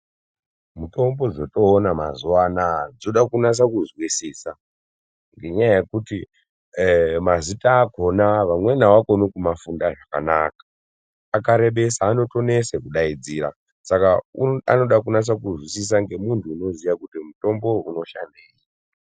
Mitombo dzotoona mazuwaanaya dzoda kunyasa kuzwisisa ngenyaya yekuti mazita akona vamweni avakoni kumafunda zvakanaka akarebesa anotonesa kudaidzira saka anoda junasa kuzwisisa ngemunthu unoziya kuti mutombo uyu unoshandei.